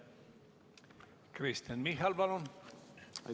Kristen Michal, palun!